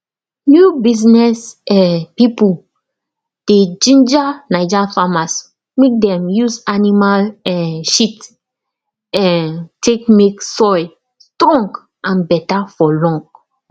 new business um pipo dey ginger naija farmers mek dem use animal um shit um take mek soil strong and beta for long